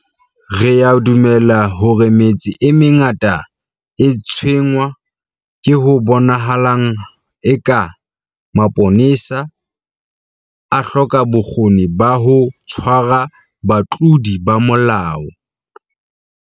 Re a dumela hore metse e mengata e tshwenngwa ke ho bonahalang eka mapolesa a hloka bokgoni ba ho tshwara batlodi ba molao.